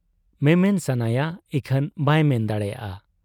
ᱢᱮᱢᱮᱱ ᱥᱟᱱᱟᱭᱟ ᱤᱠᱷᱟᱹᱱ ᱵᱟᱭ ᱢᱮᱱ ᱫᱟᱲᱮᱭᱟᱜ ᱟ ᱾